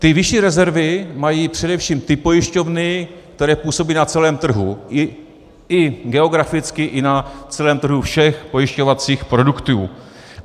Ty vyšší rezervy mají především ty pojišťovny, které působí na celém trhu, i geograficky i na celém trhu všech pojišťovacích produktů.